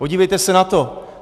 Podívejte se na to.